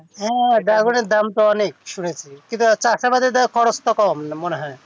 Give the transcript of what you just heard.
হ্যাঁ dragon দাম তও অনেক কিন্তু এটার খরচ কত মনে হয়